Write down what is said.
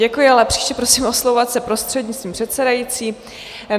Děkuji, ale příště prosím oslovovat se prostřednictvím předsedající.